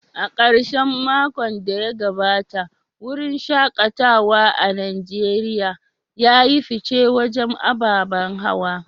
A karshen makon da ya gabata, wurin shaKatawa a Najeriya ya yi fice wajen ababen hawa.